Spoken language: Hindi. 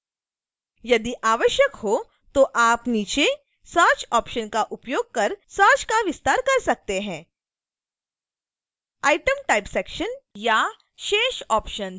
यदि आवश्यक हो तो आप नीचे search ऑप्शन का उपयोग कर सर्च का विस्तार कर सकते हैं